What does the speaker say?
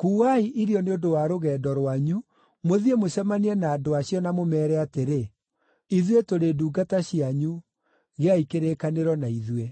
‘Kuuai irio nĩ ũndũ wa rũgendo rwanyu, mũthiĩ mũcemanie na andũ acio, na mũmeere atĩrĩ, “Ithuĩ tũrĩ ndungata cianyu; gĩai kĩrĩkanĩro na ithuĩ.” ’